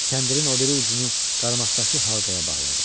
Kəndirin o biri ucunu qarmaqdakı halqaya bağladı.